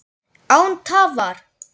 Án tafar!